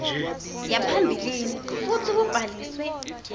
yaphambilini futsi kubhaliswe